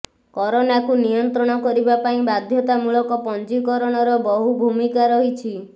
କରୋନାକୁ ନିୟନ୍ତ୍ରଣ କରିବା ପାଇଁ ବାଧ୍ୟତାମୂଳକ ପଞ୍ଜୀକରଣର ବହୁ ଭୂମିକା ରହିଛି